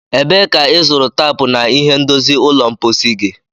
Ebee ka ịzụrụ taapu na ihe ndozi ụlọ mposi gị?